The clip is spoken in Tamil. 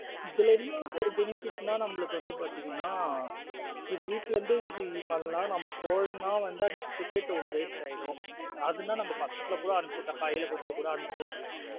இதுல என்ன ஒரு benefit நா நாமள்ளுக்கு வந்து பாத்துங்கீனா இதுவீட்ல இருந்தே பண்லாம் இது போலென வந்து ticket ஒன்னு waste ஆய்டும். அது ந நம்ம பசங்களா கூட அனுப்சுவிற்றலாம் கைல குடுது கூட அனுப்சுவிடலாம்.